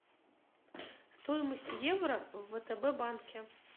стоимость евро в втб банке